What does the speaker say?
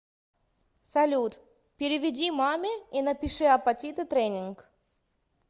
салют переведи маме и напиши апатиты тренинг